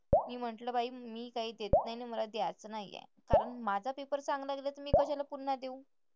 मी म्हंटलं बाई मी काय देत नाही आणि मला द्यायचं नाहीये. कारण माझा पेपर चांगला गेलाय तर मी कशाला पुन्हा देऊ?